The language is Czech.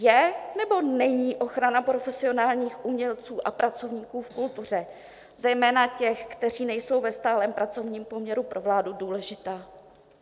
Je, nebo není ochrana profesionálních umělců a pracovníků v kultuře, zejména těch, kteří nejsou ve stálém pracovním poměru, pro vládu důležitá?